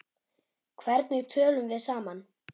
Hvernig tölum við saman?